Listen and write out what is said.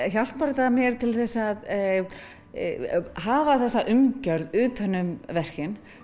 hjálpar þetta mér til að hafa þessa umgjörð utan um verkin